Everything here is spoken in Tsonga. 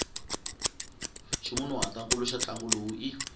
ximunhuhatwankulu xa ntlangu lowu i